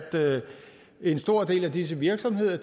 en stor del af disse virksomheder